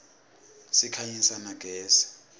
sikhanyisa na gezi